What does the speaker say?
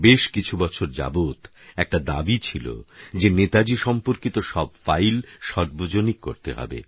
বেশকিছু বছর যাবৎ একটা দাবী ছিল যে নেতাজী সম্পর্কিত সব ফাইল সার্বজনিক করতে হবে